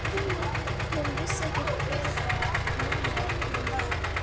Hún vissi ekki hverra manna hann var.